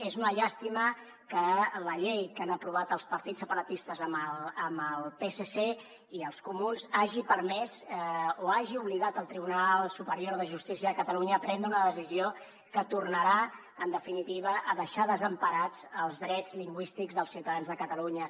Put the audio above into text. és una llàstima que la llei que han aprovat els partits separatistes amb el psc i els comuns hagi permès o hagi obligat al tribunal superior de justícia de catalunya a prendre una decisió que tornarà en definitiva a deixar desemparats els drets lingüístics dels ciutadans de catalunya